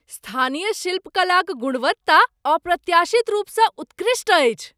स्थानीय शिल्पकलाक गुणवत्ता अप्रत्याशित रूपसँ उत्कृष्ट अछि।